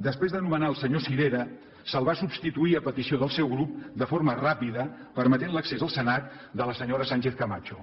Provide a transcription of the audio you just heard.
després de nomenar el senyor sirera se’l va substituir a petició del seu grup de forma ràpida i es va permetre l’accés al senat de la senyora sánchezcamacho